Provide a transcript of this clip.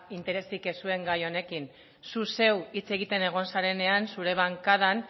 interesik ez zuen gai honekin zu zeu hitz egiten egon zarenean zure bankadan